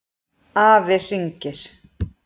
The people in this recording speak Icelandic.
Afi hringir